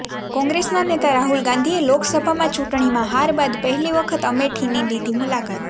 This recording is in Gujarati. કોંગ્રેસના નેતા રાહુલ ગાંધીએ લોકસભામાં ચૂંટણીમાં હાર બાદ પહેલી વખત અમેઠીની લીધી મુલાકાત